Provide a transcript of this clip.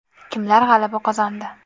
Kimlar g‘alaba qozondi?